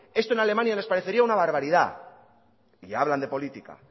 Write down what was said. esto en alemania les parecería una barbaridad y hablan de política